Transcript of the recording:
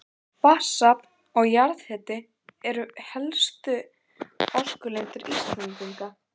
Vatnsafl og jarðhiti eru helstu orkulindir Íslendinga.